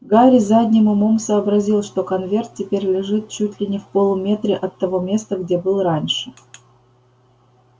гарри задним умом сообразил что конверт теперь лежит чуть не в полуметре от того места где был раньше